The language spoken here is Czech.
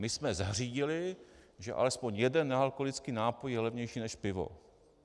My jsme zařídili, že aspoň jeden nealkoholický nápoj je levnější než pivo.